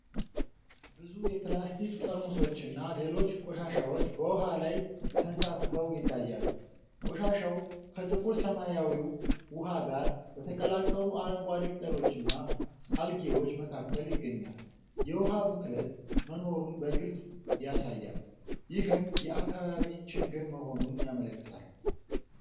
ብዙ የፕላስቲክ ጠርሙሶችና ሌሎች ቆሻሻዎች በውሃ ላይ ተንሳፍፈው ይታያሉ። ቆሻሻው ከጥቁር ሰማያዊው ውሃ ጋር በተቀላቀሉ አረንጓዴ ቅጠሎችና አልጌዎች መካከል ይገኛል። የውሃ ብክለት መኖሩን በግልጽ ያሳያል፤ ይህም የአካባቢ ችግር መሆኑን ያመለክታል።